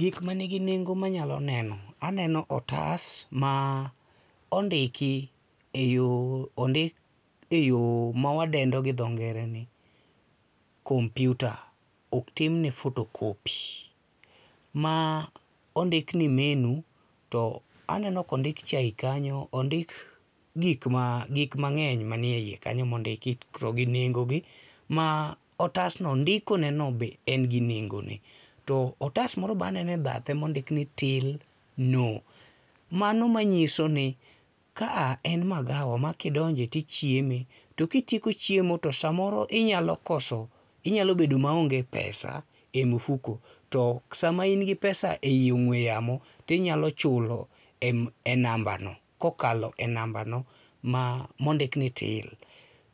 Gik mani gi nengo ma anyalo neno, aneno otas, ma ondiki eyo ondik eyo ma wadendo gi dho ngere ni kompiuta ok otimne photocopy. Ma ondik ni menu to aneno ka ondik chae kanyo ,ondik gik ma, gik mang'eny man eiye kanyo ma ondiki, to gi nengoni ma otasno ndikoneno be en gi nengone. To otas moro be aneno e bathe mondiki ni till no, mano manyiso ni ka a en magawa ma kidonje tichieme to kitieko chiemo to samoro inyalo koso inyalo bedo maonge pesa e mifuko, to sama in gi pesa ee ong'ue yamo to inyalo chulo e nambano kokalo e nambano ma mondik ni til